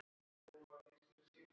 Já, við ákváðum það.